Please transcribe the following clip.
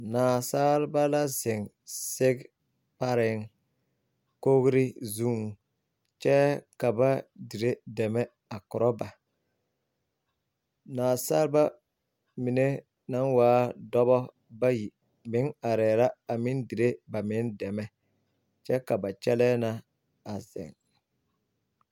Naasalba la zeŋ sege pareŋ kogri zuŋ kyɛ ka ba dire dɛmɛ a korɔ ba nasaalba mine naŋ waa dɔba bayi meŋ arɛɛ la meŋ dire ba meŋ dɛmɛ kyɛ ka ba kyɛlɛɛ na a zeŋ.